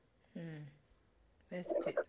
ഉം ബെസ്റ്റ്.